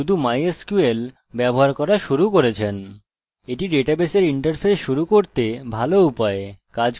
যদিও এটির সম্পর্কে জানার দরকার নেই এটি প্রোগ্রামের জন্য ভালো শুরু যদি php mysql বা শুধু mysql ব্যবহার করা শুরু করছেন